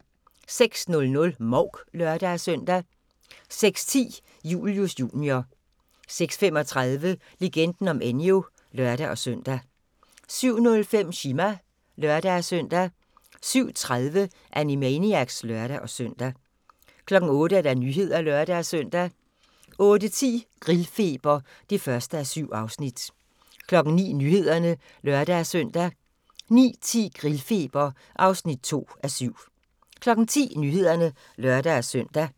06:00: Mouk (lør-søn) 06:10: Julius Jr. 06:35: Legenden om Enyo (lør-søn) 07:05: Chima (lør-søn) 07:30: Animaniacs (lør-søn) 08:00: Nyhederne (lør-søn) 08:10: Grillfeber (1:7) 09:00: Nyhederne (lør-søn) 09:10: Grillfeber (2:7) 10:00: Nyhederne (lør-søn)